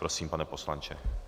Prosím, pane poslanče.